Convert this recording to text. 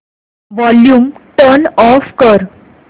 volume turn off कर